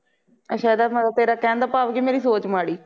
ਅੱਛਾ ਇਦਾ ਮਤਲਬ ਤੇਰਾ ਕਹਿਣ ਦਾ ਭਾਵ ਮੇਰੀ ਸੋਚ ਮਾੜੀ